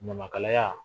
Ɲamakalaya